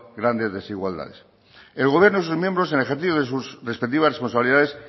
grandes desigualdades el gobierno y sus miembros en el ejercicio de sus respectivas responsabilidades